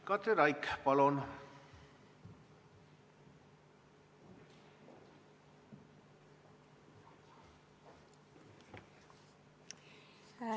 Katri Raik, palun!